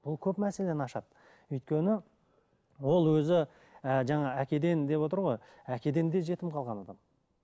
бұл көп мәселені ашады өйткені ол өзі і жаңа әкеден деп отыр ғой әкеден де жетіп қалған адам